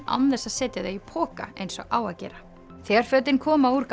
án þess að setja þau í poka eins og á að gera þegar fötin koma úr